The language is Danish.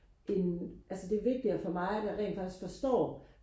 end altså det er vigtigere for mig at jeg rent faktisk forstår